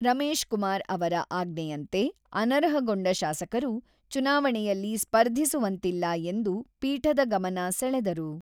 ರಮೇಶ್ ಕುಮಾರ್ ಅವರ ಆಜ್ಞೆಯಂತೆ ಅನರ್ಹಗೊಂಡ ಶಾಸಕರು ಚುನಾವಣೆಯಲ್ಲಿ ಸ್ಪರ್ಧಿಸುವಂತಿಲ್ಲ ಎಂದು ಪೀಠದ ಗಮನ ಸೆಳೆದರು.